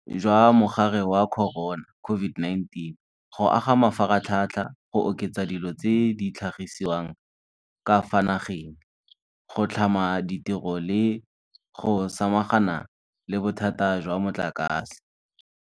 Jwa Mogare wa Corona, COVID-19, go aga mafaratlhatlha, go oketsa dilo tse di tlhagisiwang ka fa nageng, go tlhama ditiro le go samagana le bothata jwa motlakase.